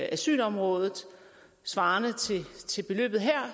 asylområdet svarende til beløbet her